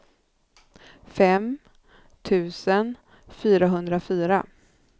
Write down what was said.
fem tusen fyrahundrafyra